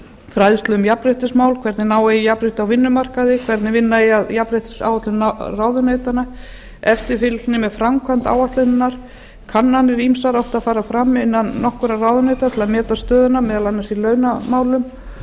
fræðslu um jafnréttismál hvernig ná eigi jafnrétti á vinnumarkaði hvernig vinna eigi að jafnréttisáætlun ráðuneytanna eftirfylgni með framkvæmd áætlunarinnar kannanir ýmsar áttu að fara fram innan nokkurra ráðuneyta til að meta stöðuna meðal annars í launamálum